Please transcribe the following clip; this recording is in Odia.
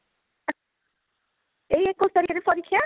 ଏଇ ଏକୋଇଶି ତାରିଖ ରେ ପରୀକ୍ଷା